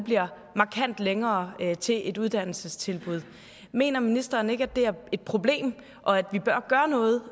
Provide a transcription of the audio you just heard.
markant længere til et uddannelsestilbud mener ministeren ikke at det er et problem og at vi bør gøre noget